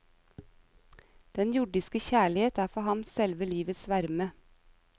Den jordiske kjærlighet er for ham selve livets varme.